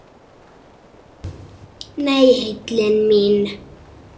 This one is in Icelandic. Nei, heillin mín.